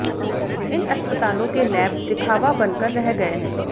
इन अस्पतालों के लैब दिखावा बनकर रह गए हैं